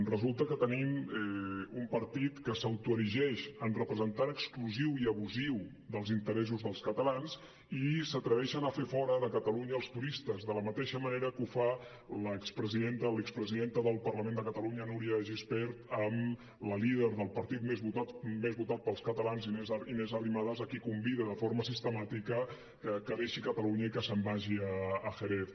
resulta que tenim un partit que s’autoerigeix en representant exclusiu i abusiu dels interessos dels catalans i s’atreveixen a fer fora de catalunya els turistes de la mateixa manera que ho fa l’expresidenta del parlament de catalunya núria de gispert amb la líder del partit més votat pels catalans inés arrimadas a qui convida de forma sistemàtica que deixi catalunya i que se’n vagi a jerez